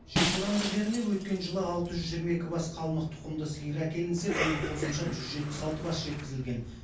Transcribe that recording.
желтораңғы жеріне өткен жылы алты жүз жиырма екі бас қалмық тұқымды сиыр әкелінсе биыл қосымша жүз жетпіс алты бас жеткізілген